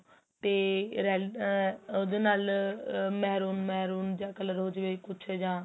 ਤੇ ਅਹ ਉਹਦੇ ਨਾਲ MEH run MEH run ਜਾਂ color ਕੁੱਛ ਜਾਂ